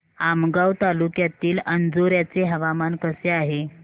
आमगाव तालुक्यातील अंजोर्याचे हवामान कसे आहे